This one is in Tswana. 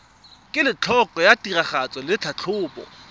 kelotlhoko ya tiragatso le tlhatlhobo